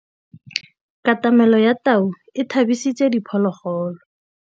Katamêlô ya tau e tshabisitse diphôlôgôlô.